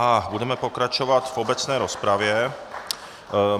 A budeme pokračovat v obecné rozpravě.